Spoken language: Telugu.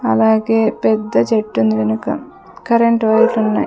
అలాగే పెద్ద చెట్టుంది వెనుక కరెంట్ వైర్లున్నాయ్ .